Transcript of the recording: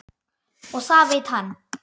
Og það veit hann.